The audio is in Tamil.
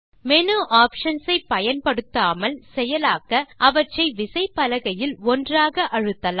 மேனு ஆப்ஷன்ஸ் ஐ பயன்படுத்தாமல் செயலாக்க அவற்றை விசைப்பலகையில் ஒன்றாக அழுத்தலாம்